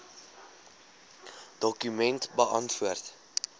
dokument beantwoord